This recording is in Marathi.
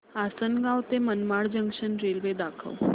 आसंनगाव ते मनमाड जंक्शन रेल्वे दाखव